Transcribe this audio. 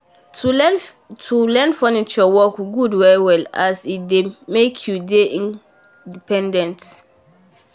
to learn furniture work good well well as e dey make you dey independent